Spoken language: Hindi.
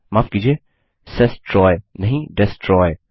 माफ कीजिए सेस्ट्रॉय नहीं डेस्ट्रॉय